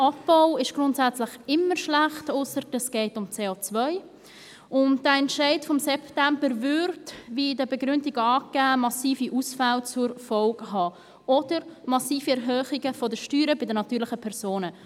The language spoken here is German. Abbau ist grundsätzlich immer schlecht – ausser, es gehe um CO –, und der Entscheid vom September hätte, wie in den Begründungen angegeben, massive Ausfälle zur Folge oder massive Erhöhungen der Steuern bei den natürlichen Personen.